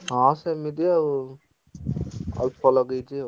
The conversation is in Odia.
ହଁ ସେମିତି ଆଉ ଅଳ୍ପ ଲଗେଇଛି ଆଉ।